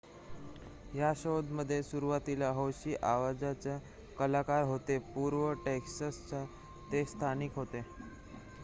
या शोमध्ये सुरुवातीला हौशी आवाजाचे कलाकार होते पूर्व टेक्सासचे ते स्थानिक होते